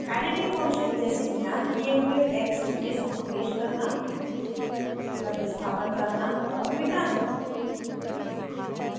editing function जैसे मिलान किये हुए text में समावेश करना प्रतिस्थापन करना और मिटाना